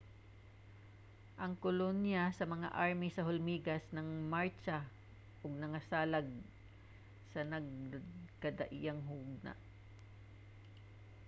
ang kolonya sa mga army sa hulmigas nang martsa ug nangsalag sa nagkadaiyang hugna